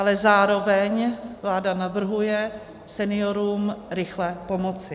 Ale zároveň vláda navrhuje seniorům rychle pomoci.